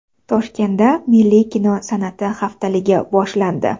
Toshkentda milliy kino san’ati haftaligi boshlandi.